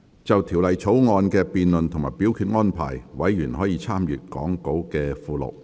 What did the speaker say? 就條例草案的辯論及表決安排，委員可參閱講稿附錄。